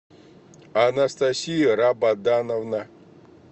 анастасия рабадановна